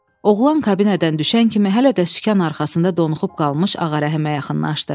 Oğlan kabinədən düşən kimi hələ də sükan arxasında donuxub qalmış Ağa Rəhimə yaxınlaşdı.